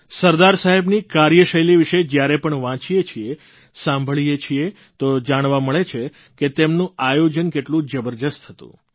સરદાર સાહેબની કાર્યશૈલી વિષે જયારે પણ વાંચીએ છીએ સાંભળીએ છીએ તો જાણવા મળે છે કે તેમનું આયોજન કેટલું જબરજસ્ત હતું